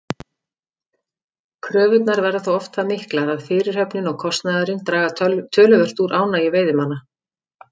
Kröfurnar verða þó oft það miklar að fyrirhöfnin og kostnaðurinn draga töluvert úr ánægju veiðimanna.